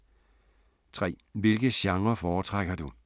3) Hvilke genrer foretrækker du?